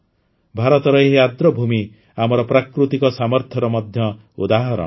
ଭାରତର ଏହି ଆର୍ଦ୍ରଭୂମି ଆମର ପ୍ରାକୃତିକ ସାମର୍ଥ୍ୟର ମଧ୍ୟ ଉଦାହରଣ